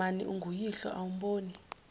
mani unguyihlo awumboni